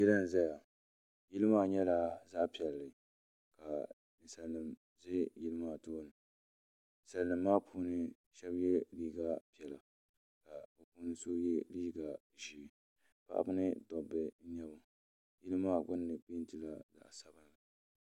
yili nʒɛya yili maa nyɛla ka zali nimƶɛ yili maa tuuni salimaa puuni shɛbi yɛ liga piɛla ka so yɛ liga ʒiɛ paɣ' ba ni doba nyɛba yili gbani pɛntɛla zaɣ' sabinli